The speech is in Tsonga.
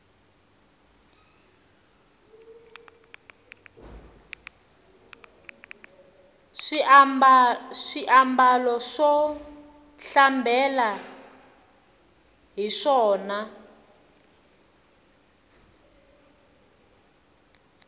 swi ambala swo hlambela hiswona